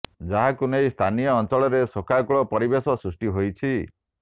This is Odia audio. ଯାହାକୁ ନେଇ ସ୍ଥାନୀୟ ଅଞ୍ଚଳରେ ଶୋକାକୁଳ ପରିବେଶ ସୃଷ୍ଟି ହୋଇଛି